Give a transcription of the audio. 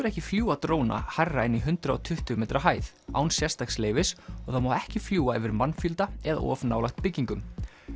ekki fljúga dróna hærra en í hundrað og tuttugu metra hæð án sérstaks leyfis og það má ekki fljúga yfir mannfjölda eða of nálægt byggingum